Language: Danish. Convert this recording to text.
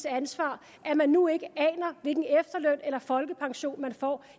ansvar at man nu ikke aner hvilken efterløn eller folkepension man får